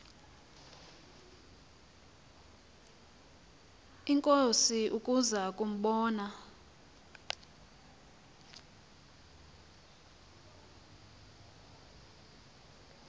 inkosi ukuza kumbona